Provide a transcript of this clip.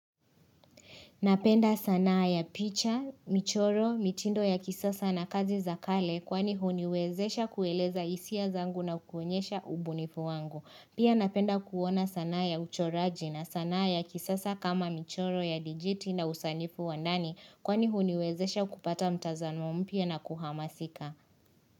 Napenda sanaa ya picha, michoro, mitindo ya kisasa na kazi za kale kwani huniwezesha kueleza hisia zangu na kuonyesha ubunifu wangu. Pia napenda kuona sanaa ya uchoraji na sanaa ya kisasa kama michoro ya dijiti na usanifu wa ndani kwani huniwezesha kupata mtazamo mpya na kuhamasika.